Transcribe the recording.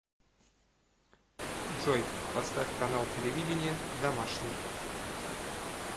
джой поставь канал телевидения домашний